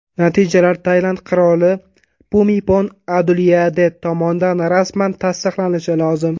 Natijalar Tailand qiroli Pumipon Adulyadet tomonidan rasman tasdiqlanishi lozim.